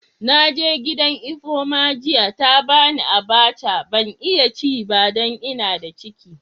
Na je gidan Ifeoma jiya, ta ba ni abacha. Ban iya ci ba dan n'na da ciki.